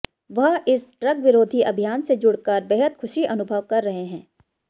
वह इस ड्रग्स विरोधी अभियान से जुड़कर बेहद खुशी अनुभव कर रहे हैं